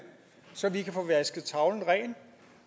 så vi kan få vasket tavlen ren